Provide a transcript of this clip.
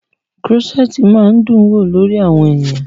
Krọ́ṣẹ̀tì máa ń dún wò lórí àwọn ènìyàn.